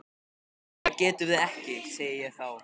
Nei það getum við ekki, segi ég þá.